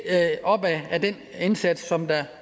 op ad den indsats som